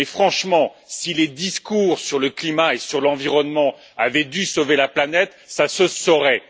Mais, franchement, si les discours sur le climat et sur l'environnement avaient dû sauver la planète, ça se saurait.